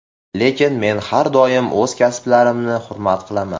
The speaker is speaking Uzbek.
Lekin men har doim o‘z hamkasblarimni hurmat qilaman.